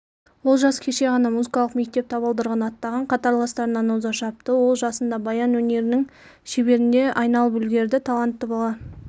олжас кеше ғана музыкалық мектеп табалдырығын аттаған қатарластарынан оза шапты ол жасында баян өнерінің шеберіне айналып үлгерді талантты бала